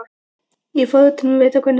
Er forvitin að vita hvernig þér líst á.